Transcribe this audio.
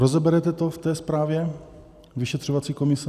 Rozeberete to v té zprávě vyšetřovací komise?